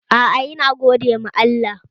Aa, yana gode ma Allah